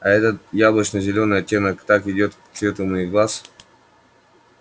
а этот яблочно-зелёный оттенок так идёт к цвету моих глаз